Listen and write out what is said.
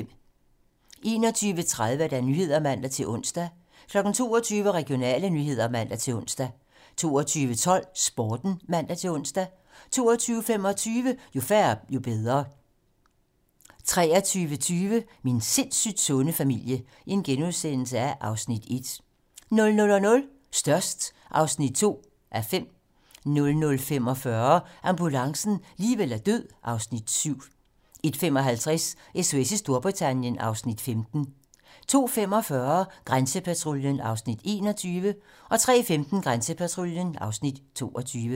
21:30: 21:30 Nyhederne (man-ons) 22:00: Regionale nyheder (man-ons) 22:12: Sporten (man-ons) 22:25: Jo færre, jo bedre (man) 23:20: Min sindssygt sunde familie (Afs. 1)* 00:00: Størst (2:5) 00:45: Ambulancen - liv eller død (Afs. 7) 01:55: SOS i Storbritannien (Afs. 15) 02:45: Grænsepatruljen (Afs. 21) 03:15: Grænsepatruljen (Afs. 22)